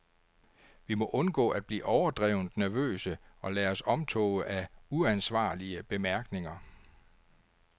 Vi må undgå at blive overdrevent nervøse og lade os omtåge af uansvarlige bemærkninger.